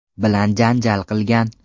bilan janjal qilgan.